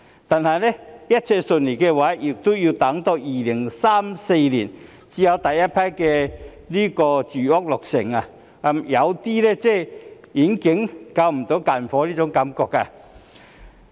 但是，如果一切順利也要到2034年才有第一批住屋落成，有種遠水不能救近火的感覺。